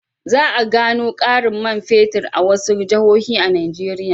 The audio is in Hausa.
Za a gano ƙarin man fetur a wasu jihohi a Nigeriya.